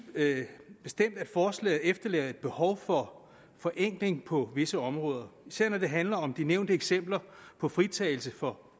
bestemt at forslaget efterlader et behov for forenkling på visse områder især når det handler om de nævnte eksempler på fritagelse for